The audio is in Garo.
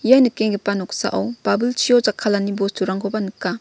ia nikenggipa noksao babilchio jakkalani bosturangkoba nika.